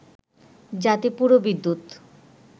যাতে পুরো বিদ্যুৎ